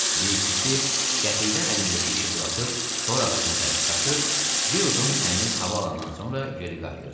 Bir ikisi qəfildən əlindəki işi buraxıb dor ağacına tərəf qaçır, bir udum təmiz hava alandan sonra geri qayıdırdı.